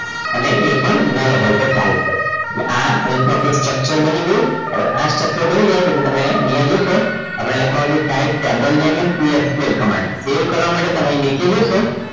અને એ પણ null હોય તો ચાલશે એટલે આ રીતમાં આપણું structure બની ગયું હવે આ structure બની જાય છે જે તમે અહીંયા જોશો આપણે લખવાનું છે type cable name in c sql command save કરવા માટે તમે નીચે જોશો